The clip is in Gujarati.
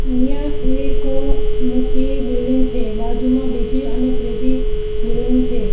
અહીંયા એક મોટી બિલ્ડીંગ છે બાજુમાં બીજી અને ત્રીજી બિલ્ડીંગ છે.